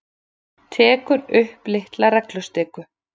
Tekur upp litla reglustiku.